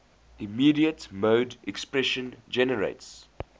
immediate mode expression generates